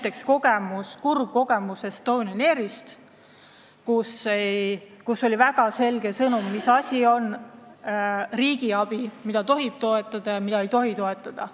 Meil on olemas kurb kogemus Estonian Airiga, mis andis väga selge sõnumi, mis asi on riigiabi, mida tohib toetada ja mida ei tohi toetada.